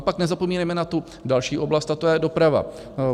A pak nezapomínejme na tu další oblast, a to je doprava.